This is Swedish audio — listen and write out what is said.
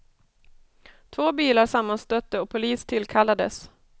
Två bilar sammanstötte och polis tillkallades.